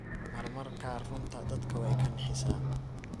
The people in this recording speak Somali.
Mar mar kaar runta dadka way kanixisaa.